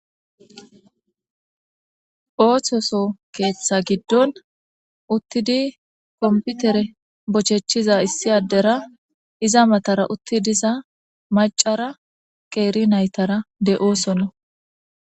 oohthoso keeththa giddon uttidi komputere bochechiza issi addera iza matara utti diza macara qeeri naytara de7oosono